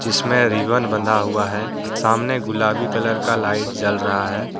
इसमें रिबन बंधा हुआ है सामने गुलाबी कलर का लाइट जल रहा है।